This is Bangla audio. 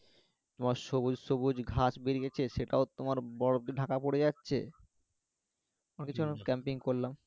তোমার সবুজ সবুজ ঘাস বেড়িয়ে গেছে তোমার বরফ দিয়ে ঢাকা পরে যাচ্ছে আমরা কিছুক্ষন ক্যাম্পিং করলাম